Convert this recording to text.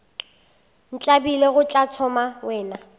ntlabile go tla thoma wena